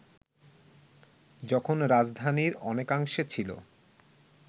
যখন রাজধানীর অনেকাংশে ছিল